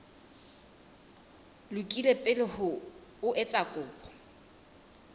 lokile pele o etsa kopo